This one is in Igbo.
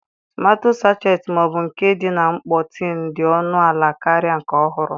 Tomato sachet ma ọ bụ nke dị na mkpọ tin dị ọnụ ala karịa nke ọhụrụ.